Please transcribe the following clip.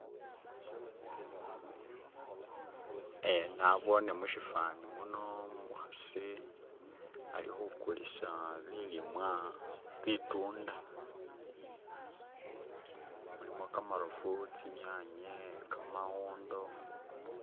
Eeh nabone mushifani muno umukhasi alikhukulisa bilimwa bitunda mulimo khamarofu tsi nyanye kamawondo